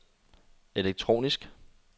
elektronisk